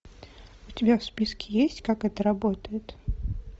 у тебя в списке есть как это работает